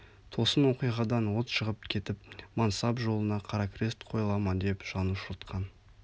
тосын оқиғадан от шығып кетіп мансап жолына қара крест қойыла ма деп жан ұшыртқан